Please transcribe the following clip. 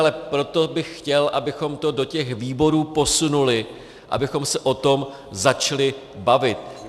Ale proto bych chtěl, abychom to do těch výborů posunuli, abychom se o tom začali bavit.